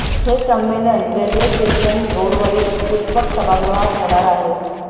हे संमेलन railway station रोडवरील पुष्पक सभागृहात होणार आहे